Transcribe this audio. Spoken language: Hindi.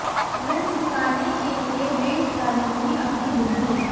ऋण चुकाने के लिए बेच डाली थी अपनी बुग्गी